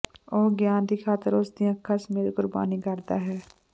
ਉਹ ਗਿਆਨ ਦੀ ਖ਼ਾਤਰ ਉਸ ਦੀਆਂ ਅੱਖਾਂ ਸਮੇਤ ਕੁਰਬਾਨੀ ਕਰਦਾ ਹੈ